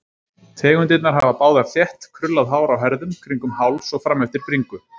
Tegundirnar hafa báðar þétt, krullað hár á herðum, kringum háls og frameftir bringu.